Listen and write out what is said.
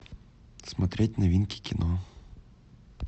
смотреть новинки кино